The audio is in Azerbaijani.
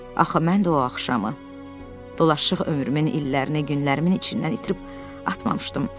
Axı mən də o axşamı dolaşıq ömrümün illərinin, günlərimin içindən itirib atmamışdım.